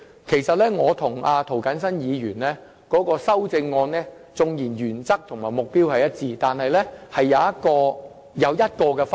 其實，雖然我與涂謹申議員提出的修正案原則和目標一致，但當中有一個分別。